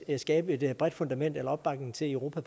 kan skabe et bredt fundament for eller opbakning til i europa